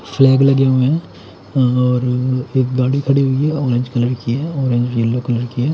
Orange colour की है र एक येलो कलर की है।